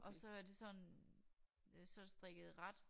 Og så er det sådan øh så det strikket i ret